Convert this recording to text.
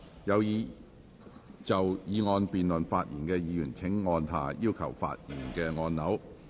有意就議案辯論發言的議員請按下"要求發言"按鈕。